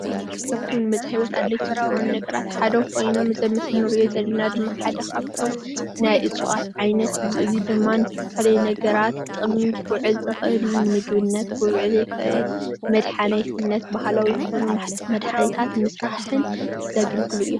እፅዋት ኮይኑ ኣብ ከይዲ ዕንበባ ዝርከብ ኮይኑ ንመድሓኒት ይጠቅም።